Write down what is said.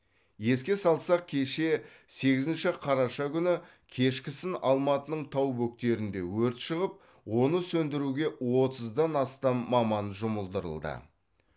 еске салсақ кеше сегізінші қараша күні кешкісін алматының тау бөктерінде өрт шығып оны сөндіруге отыздан астам маман жұмылдырылды